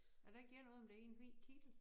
Er der ikke noget om det i en hvid kittel